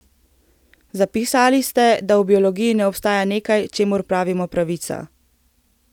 Zapisali ste, da v biologiji ne obstaja nekaj, čemur pravimo pravica.